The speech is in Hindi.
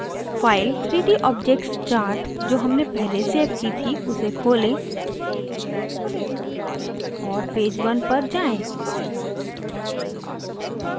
file 3d objectschart जो हमने पहले सेव की थी उसे खोलें और पेज 1 पर जाएँ